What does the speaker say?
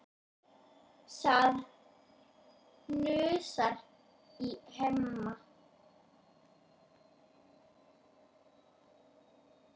Það hnussar í Hemma.